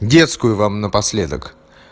детскую вам напоследок